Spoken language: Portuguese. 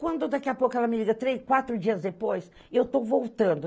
Quando daqui a pouco ela me liga, três, quatro dias depois, eu estou voltando.